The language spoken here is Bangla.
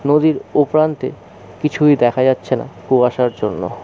নদীর ও প্রান্তে কিছুই দেখা যাচ্ছে না কুয়াশার জন্য ।